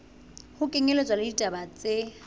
ho kenyelletswa le ditaba tse